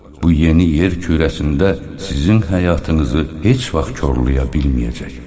Bu yeni yer kürəsində sizin həyatınızı heç vaxt korlaya bilməyəcək.